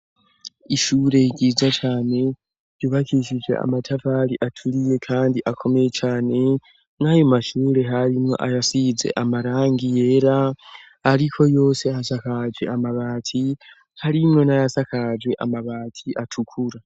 ishure ryiza cane ryubakisije amatafari aturiye kandi akome cane nkayo mashure harimwo ayasiyize amarangi yera ariko yose asakage amabati harimwo n'ayasakaje amabati atukura